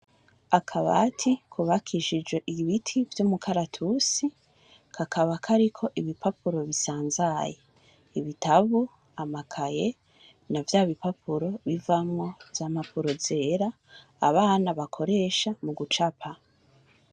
Akabati kubakishijwe ibiti vy'umukaratusi, kakaba kariko ibipapuro bisanzaye, ibitabo, amakaye na vya bipapuro bivamwo za mpapuro zera, abana bakoresha mu gucapa.